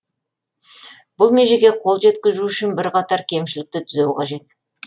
бұл межеге қол жеткізу үшін бірқатар кемшілікті түзеу қажет